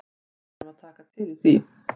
Við erum að taka til í því.